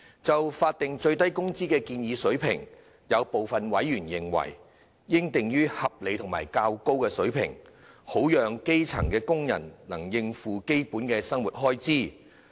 就法定最低工資的建議水平，有部分委員認為應定於合理及較高水平，好讓基層工人能應付基本生活開支。